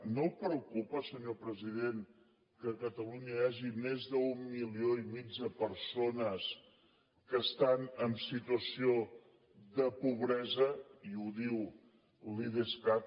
no el preocupa senyor president que a catalunya hi hagi més d’un milió i mig de persones que estan en situació de pobresa i ho diu l’idescat